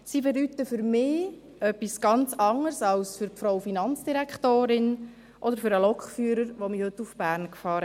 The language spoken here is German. Sie bedeuten für mich etwas ganz anderes als für die Finanzdirektorin oder für den Lokführer, der mich heute nach Bern fuhr.